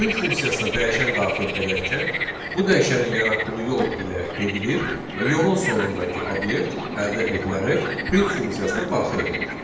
Print funksiyasına dəyişən daxil edərkən bu dəyişənin yaratdığı yol ilə gedilir və yolun sonundakı obyekt əldə edilərək print funksiyasına daxil edilir.